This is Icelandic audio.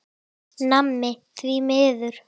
Nammi, því miður.